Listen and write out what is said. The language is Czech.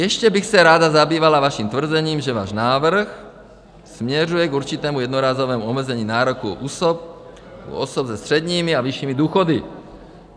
Ještě bych se ráda zabývala vaším tvrzením, že váš návrh směřuje k určitému jednorázovému omezení nároku u osob se středními a vyššími důchody.